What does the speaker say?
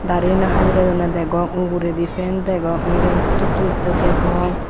darini habidedonney degong uguredi fan degong ekjoney putot tulettey degong.